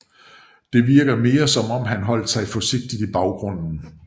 Det virker mere som om han holdt sig forsigtigt i baggrunden